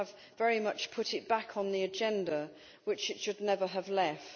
They have very much put it back on the agenda, which it should never have left.